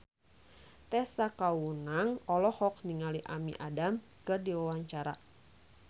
Tessa Kaunang olohok ningali Amy Adams keur diwawancara